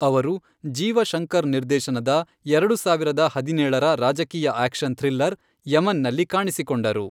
ಅವರು ಜೀವ ಶಂಕರ್ ನಿರ್ದೇಶನದ ಎರಡು ಸಾವಿರದ ಹದಿನೇಳರ ರಾಜಕೀಯ ಆಕ್ಷನ್ ಥ್ರಿಲ್ಲರ್ ಯಮನ್ನಲ್ಲಿ ಕಾಣಿಸಿಕೊಂಡರು.